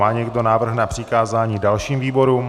Má někdo návrh na přikázání dalším výborům?